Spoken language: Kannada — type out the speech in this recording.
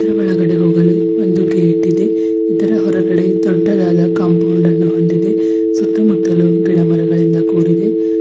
ಇದ್ರ ಒಳಗಡೆ ಹೋಗಲು ಒಂದು ಗೇಟ್ ಇದೆ ಇದರ ಹೊರಗಡೆ ಒಂದು ದೊಡ್ಡದಾದ ಕಾಂಪೌಂಡ್ ಅನ್ನು ಹೊಂದಿದೆ ಸುತ್ತಮುತ್ತಲೂ ಗಿಡಮರಗಳಿಂದ ಕೂಡಿದೆ.